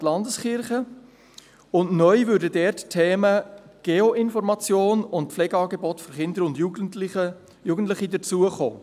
Neu kämen dort die Themen «Geoinformation» und «Pflegeangebote für Kinder und Jugendliche» hinzu.